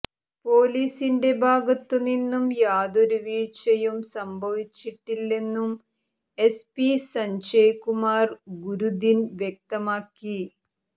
പൊലീസിന്റെ ഭാഗത്തു നിന്നും യാതൊരു വീഴ്ചയും സംഭവിച്ചിട്ടില്ലെന്നും എസ്പി സഞ്ജയ് കുമാർ ഗുരുദിൻ വ്യക്തമാക്കി